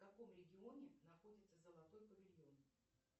в каком регионе находится золотой павильон